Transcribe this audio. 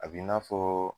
A b'i n'a fɔ